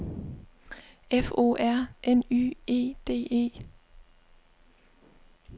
F O R N Y E D E